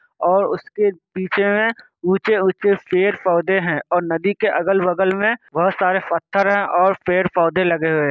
और उसके पीछे में ऊँचे ऊँचे पेड़ पौधे है । और नदी के अगल बगल में बहोत सारे पत्थर है और पेड़ पौधे लगे हुए।